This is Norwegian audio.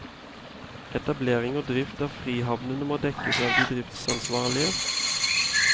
Etablering og drift av frihavnene må dekkes av de driftsansvarlige.